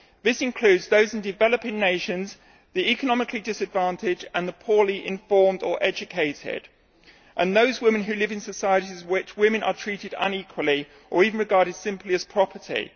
This includes those in developing nations, the economically disadvantaged and the poorly informed or educated, and those women who live in societies in which women are treated unequally or even regarded simply as property.